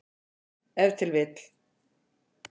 Ef til vill.